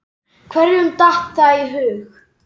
Hverjum datt það í hug?!